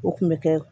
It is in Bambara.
O kun bɛ kɛ